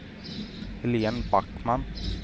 Helene Backman